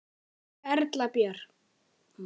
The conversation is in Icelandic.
Erla Björg: Voruð þið hræddar?